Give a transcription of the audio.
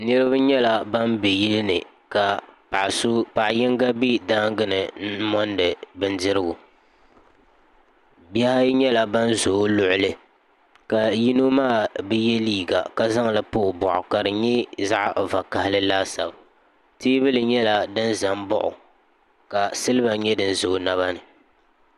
Niribi nyela ban be yili ni ka paɣa so paɣa yinga be daangini n mondi bindirigu bihi ayi nyela ban ʒe o luɣuli ka yino bi ye liiga ka zaŋ liiga pa o boɣu ka di nye zaɣvokaɣili laasabu teebuli nyela din zan baɣi o ka siliba nye din za o naba ni.